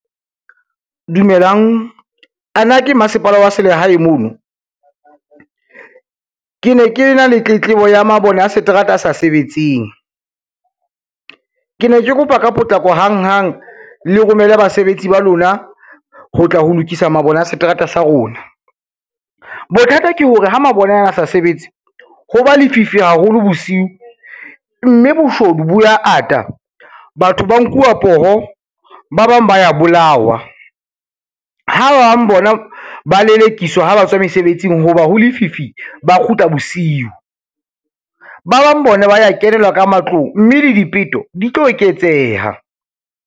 Dumelang, a na ke masepala wa selehae mono. Ke ne ke na le tletlebo ya mabone a seterata sa sebetseng, ke ne ke kopa ka potlako hang hang le romele basebetsi ba lona, ho tla ho lokisa mabone a seterata sa rona. Bothata ke hore ha mabone ana a sa sebetse ho ba lefifi haholo bosiu, mme boshodu bo ya ata, batho ba nkuwa poho, ba bang ba ya bolawa, ha ba bang bona ba lelekiswa ha ba tswa mesebetsing ho ba ho lefifi ba kgutla bosiu. Ba bang bona ba ya kenelwa ka matlong, mme le dipeto di tlo eketseha.